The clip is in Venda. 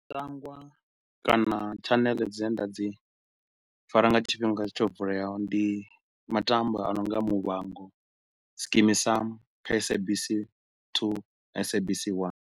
Matambwa kana tshanele dzine nda dzi fara nga tshifhinga tsho vuleaho ndi matambwa a no nga Muvhango, Skeem Sam kha SABC 2, SABC 1.